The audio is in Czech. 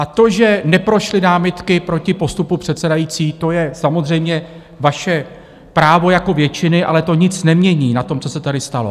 A to, že neprošly námitky proti postupu předsedající, to je samozřejmě vaše právo jako většiny, ale to nic nemění na tom, co se tady stalo.